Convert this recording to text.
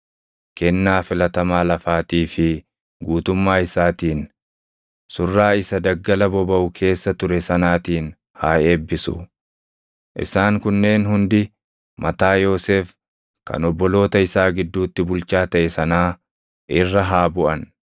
kennaa filatamaa lafaatii fi guutummaa isaatiin, surraa isa daggala bobaʼu keessa ture sanaatiin haa eebbisu. Isaan kunneen hundi mataa Yoosef kan obboloota isaa gidduutti bulchaa taʼe sanaa irra haa buʼan.